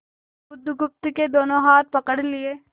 बुधगुप्त के दोनों हाथ पकड़ लिए